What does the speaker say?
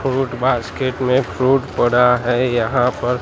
fruit basket में fruit पड़ा हैं यहां पर--